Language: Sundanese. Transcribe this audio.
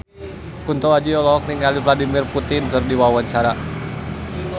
Kunto Aji olohok ningali Vladimir Putin keur diwawancara